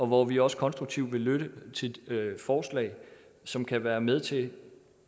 hvor vi også konstruktivt vil lytte til forslag som kan være med til